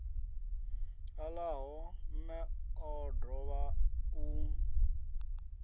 ṱalaho mme o dovha u